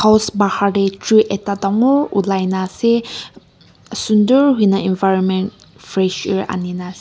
hos pahar tey tree ekta dangor ola kena ase sundur hoi kena environment fresh air ani kena--